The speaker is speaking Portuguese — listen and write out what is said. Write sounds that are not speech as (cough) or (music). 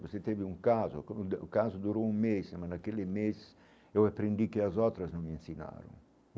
Você teve um caso, (unintelligible) o caso durou um mês, mas naquele mês eu aprendi o que as outras não me ensinaram.